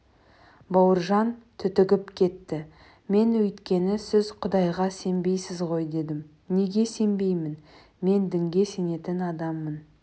бауыржан түтігіп кетті мен өйткені сіз құдайға сенбейсіз ғой дедім неге сенбеймін мен дінге сенетін адаммын